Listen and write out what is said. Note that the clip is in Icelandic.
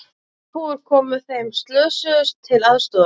Þorpsbúar komu þeim slösuðust til aðstoðar